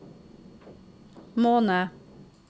måned